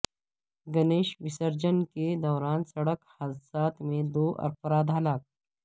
گنیش وسرجن کے دوران سڑک حادثات میں دو افراد ہلاک